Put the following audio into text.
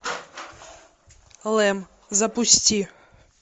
лэм запусти